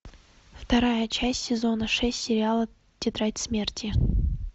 вторая часть сезона шесть сериала тетрадь смерти